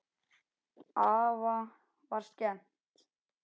Afa var skemmt.